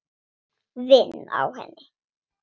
Vinn á henni.